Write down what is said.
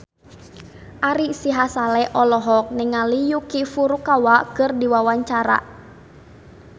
Ari Sihasale olohok ningali Yuki Furukawa keur diwawancara